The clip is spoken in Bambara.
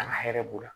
An ka hɛrɛ b'o la